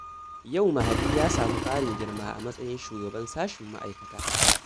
Yau Mahadi ya samu ƙarin girma a matsayin shugaban sashen ma'aikata